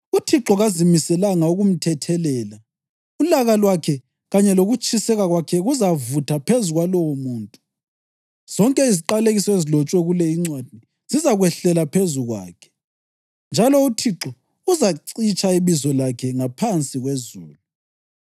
UThixo kazimiselanga ukumthethelela; ulaka lwakhe kanye lokutshiseka kwakhe kuzavutha phezu kwalowomuntu. Zonke iziqalekiso ezilotshwe kule incwadi zizakwehlela phezu kwakhe, njalo uThixo uzacitsha ibizo lakhe ngaphansi kwezulu.